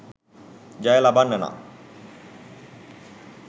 ජය ලබන්න නම්